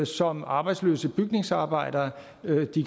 som arbejdsløse bygningsarbejdere